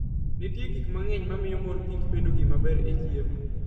Nitie gik mang'eny mamiyo mor kich bedo gima ber e chiemo.